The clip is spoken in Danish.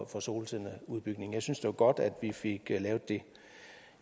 for solcelleudbygningen jeg synes det er godt at vi fik lavet det